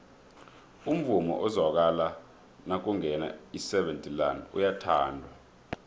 umvumo ozwakala nakungena iseven delaan uyathandwa